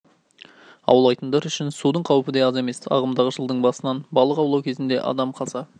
аулайтындар үшін судың қаупі де аз емес ағымдағы жылдың басынан балық аулау кезінде адам қаза